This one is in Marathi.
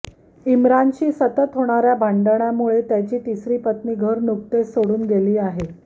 इमरानशी सतत होणाऱ्या भांडणामुळे त्याची तिसरी पत्नी घर नुकतेच घर सोडून गेली आहे